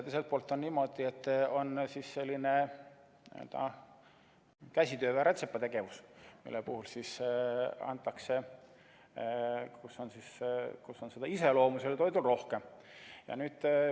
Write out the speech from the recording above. Teiselt poolt on niimoodi, et on selline käsitöö või rätsepategevus, mille puhul on seda iseloomu toidul rohkem.